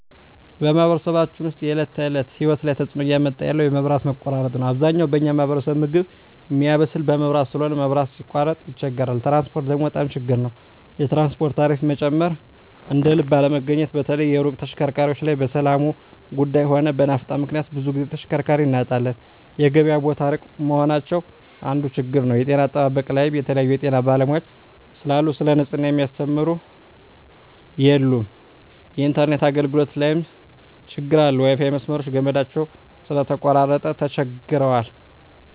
በማኅበረሰባችን ውስጥ የሰዎች የዕለት ተእለት ህይወት ላይ ትጽእኖ እያመጣ ያለው የመብት መቆራረጥ ነዉ አብዛኛው በኛ ማህበረሰብ ምግብ ሚያበስል በመብራት ስለሆነ መብራት ሲቃረጥ ይቸገራሉ ትራንስፖርት ደግሞ በጣም ችግር ናቸዉ የትራንስፖርት ታሪፋ መጨመር እደልብ አለመገኘት በተለይ የሩቅ ተሽከርካሪዎች ላይ በሠላሙም ጉዱይ ሆነ በናፍጣ ምክንያት ብዙ ግዜ ተሽከርካሪ እናጣለን የገበያ ቦታ እሩቅ መሆናቸው አንዱ ችግር ነዉ የጤና አጠባበቅ ላይም የተለያዩ የጤና ባለሙያዎች ስለሉ ሰለ ንጽሕና ሚያስተምሩ የሉም የኢንተርነት አገልግሎት ላይም ትግር አለ የዋይፋይ መስመሮች ገመዳቸው ስለተቆራረጠ ተቸግረዋል